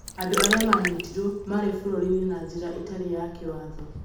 andũ arĩa maanyitirũo maarĩ bũrũri-inĩ na njĩra ĩtarĩ ya kĩwatho